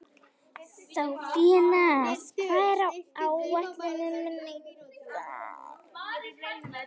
Sophanías, hvað er á áætluninni minni í dag?